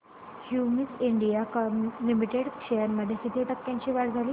Cummins India limited shares मध्ये किती टक्क्यांची वाढ झाली